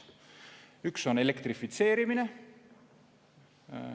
Üks on elektrifitseerimine.